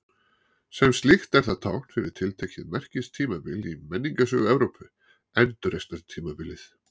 Sem slíkt er það tákn fyrir tiltekið merkistímabil í menningarsögu Evrópu, Endurreisnartímabilið.